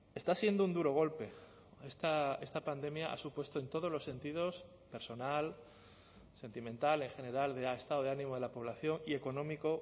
está siendo un duro golpe esta pandemia ha supuesto en todos los sentidos personal sentimental en general de estado de ánimo de la población y económico